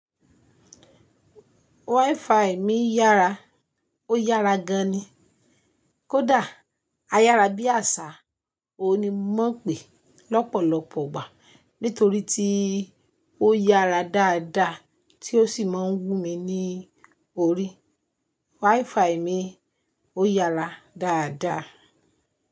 WiFi mi yára, ó yára gan ni. Kódà a yára bí àṣá, òun ni mo mo ń pè lọ́pọ̀lọpọ̀ igbà nítorí tí ó yára dáadáa tí ó sì máa ń wú mi ní orí. WiFi mi ó yára dáadáa.